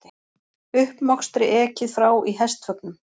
Uppmokstri ekið frá í hestvögnum.